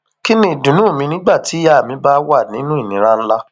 kín ni ìdùnnú mi nígbà tíyàá mi bá wà nínú ìnira ńlá